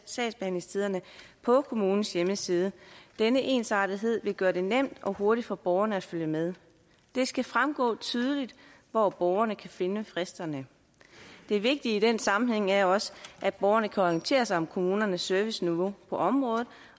sagsbehandlingstiderne på kommunens hjemmeside denne ensartethed vil gøre det nemt og hurtigt for borgerne at følge med det skal fremgå tydeligt hvor borgerne kan finde fristerne det vigtige i den sammenhæng er også at borgerne kan orientere sig om kommunernes serviceniveau på området